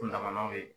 Kun dama n'aw ye